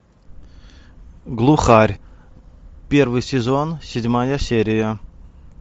глухарь первый сезон седьмая серия